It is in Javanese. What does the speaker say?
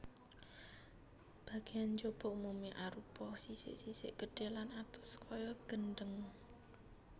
Bagéan njaba umumé arupa sisik sisik gedhé lan atos kaya gendhèng